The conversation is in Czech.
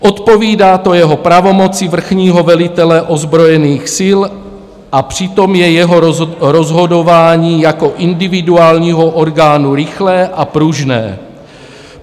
Odpovídá to jeho pravomoci vrchního velitele ozbrojených sil, a přitom je jeho rozhodování jako individuálního orgánu rychlé a pružné.